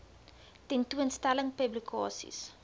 tentoon stellings publikasies